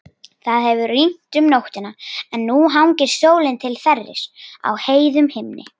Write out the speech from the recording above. Það hefur rignt um nóttina en nú hangir sólin til þerris á heiðum himni.